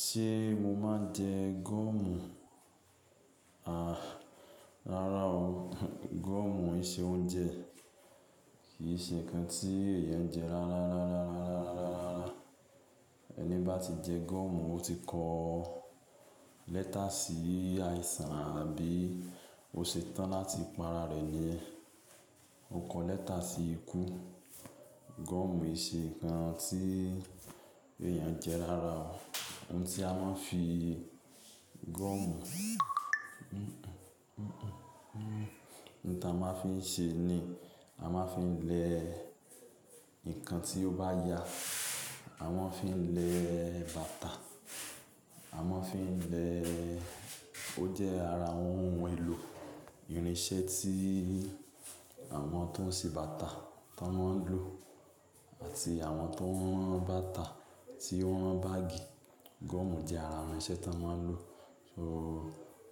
Ṣe mo máa n jẹ gọ́ọ̀mù? Aà, rárá o. Gọ́ọ̀mù ì se oúnjẹ kì í ṣe nǹkan tí èèyàn jẹ rárá. Ẹni bá ti jẹ gọ́ọ̀mù, ó ti kọ lẹ́tà sí àìsàn àbí o se tan láti parare ni yen oun ko lẹ́tà si iku gọ́ọ̀mù ì ṣe nǹkan tí èèyàn jẹ rárá o. Ohun tí a máa ń fi gọ́ọ̀mù, ohun tí a máa ń fi ṣe ni a máa ń fi lẹ ǹkan tí ó bá ya, a máa ń fi lẹ bàtà, a máa ń fi lẹ́, ó jẹ́ ara àwọn ohun èlò irinṣẹ́ tí àwọn tó ń ṣe bàtà tí wọ́n ń lò àti àwọn tó ń rán bàtà tí wọ́n rán báàgì. Gọ́ọ̀mù jẹ́ ara irinṣẹ́ tí wọ́n ń lò. So